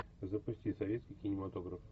запусти советский кинематограф